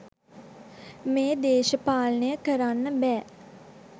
මේ දේශපාලනය කරන්න බෑ.